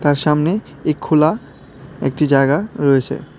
এর সামনে এই খোলা একটি জায়গা রয়েছে।